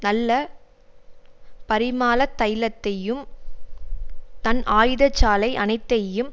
நல்ல பரிமாளதைலத்தையும் தன் ஆயுதசாலை அனைத்தையும்